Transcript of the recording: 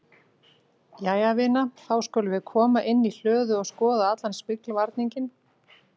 Jæja vina, þá skulum við koma inn í hlöðu og skoða allan smyglvarninginn